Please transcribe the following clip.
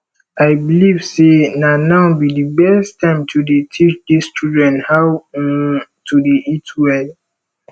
i believe say na now be the best time to dey teach dis children how um to dey eat well